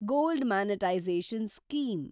gold monetization scheme